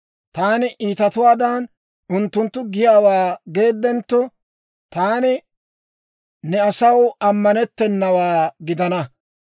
Taani iitatuwaadan, unttunttu giyaawaa geeddentto, taani ne asaw ammanettennawaa gidana.